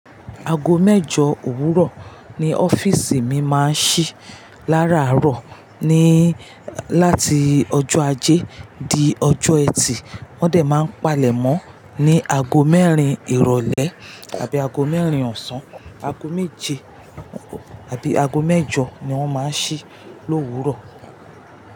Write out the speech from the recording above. Aago mẹ́jọ òwúrọ̀ ni ọ́fíìsì mi máa ń ṣí lára àárọ̀ ní láti ọjọ́ ajé di ọjọ́ ẹtì. Wọ́n òdẹ̀ máa ń palẹ̀ mọ́ ní aago mẹ́rin ìrọ̀lẹ́ àbí aago mẹ́rin ọ̀sán. Aago méje àbí aago mẹ́jọ ni wọ́n máa ń ṣí l'òwúrọ̀.